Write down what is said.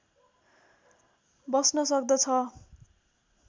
बस्न सक्दछ